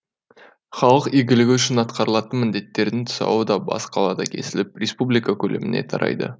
халық игілігі үшін атқарылатын міндеттердің тұсауы да бас қалада кесіліп республика көлеміне тарайды